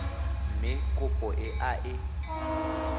mme kopo e a e